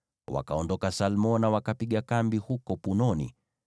Wakaondoka Salmona, wakapiga kambi huko Punoni.